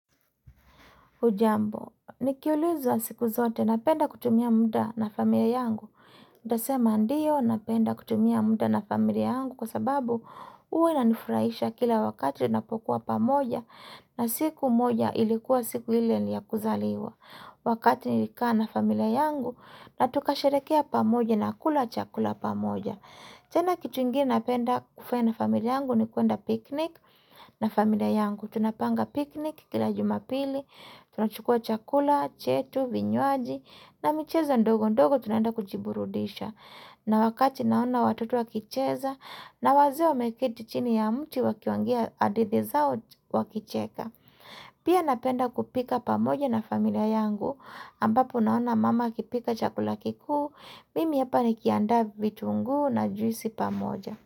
Hujambo, nikiulizwa siku zote napenda kutumia muda na familia yangu. Utasema ndio napenda kutumia muda na familia yangu kwa sababu huwa inanifurahisha kila wakati napokuwa pamoja na siku moja ilikuwa siku ile ya kuzaliwa. Wakati nilikaa na familia yangu na tukasherekea pamoja na kula chakula pamoja. Tena kitu ingini napenda kufaya na familia yangu ni kuenda piknik na familia yangu. Tunapanga piknik kilajuma pili, tunachukua chakula, chetu, vinywaji na micheza ndogo ndogo tunenda kujiburudisha. Na wakati naona watoto wakicheza na waze wamekiti chini ya mti wakiwangia hadithi zao wakicheka. Pia napenda kupika pamoja na familia yangu ambapo naona mama akipika chakula kikuu. Mimi hapa ni kianda vitunguu na juisi pa moja.